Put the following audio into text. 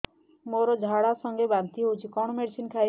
ମୋର ଝାଡା ସଂଗେ ବାନ୍ତି ହଉଚି କଣ ମେଡିସିନ ଖାଇବି